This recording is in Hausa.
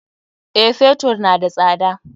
Eh, Fetur na da tsada.